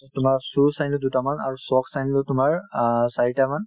তোমাৰ shoes আনিলো দুটামান আৰু shocks আনিলো তোমাৰ অ চাৰিটামান